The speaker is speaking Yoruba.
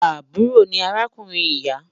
Àbúrò ni arákùnrin ìyà